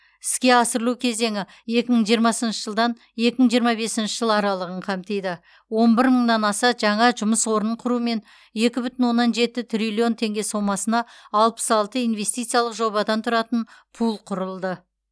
іске асырылу кезеңі екі мың жиырмасыншы жылдан екі мың жиырма бесінші жыл аралығын қамтиды он бір мыңнан аса жаңа жұмыс орнын құрумен екі бүтін оннан жеті триллион теңге сомасына алпыс алты инвестициялық жобадан тұратын пул құрылды